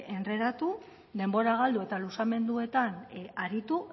endredatu denbora galdu eta luzamenduetan aritu